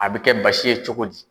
A bɛ kɛ basi ye cogo di?